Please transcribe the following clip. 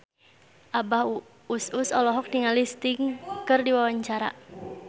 Abah Us Us olohok ningali Sting keur diwawancara